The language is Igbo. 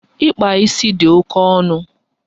Ịkpa ísì di oke ọnụ